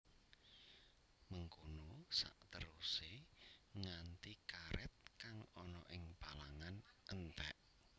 Mengkono saterusé nganti karèt kang ana ing palangan entèk